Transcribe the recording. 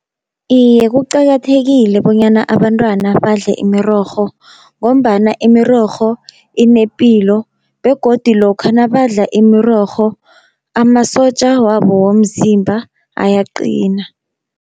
Iye kuqakathekile bonyana abantwana badle imirorho, ngombana imirorho inepilo begodi lokha nabadla imirorho amasotja wabo womzimba ayaqina.